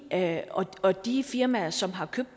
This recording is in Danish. ja og og de firmaer som har købt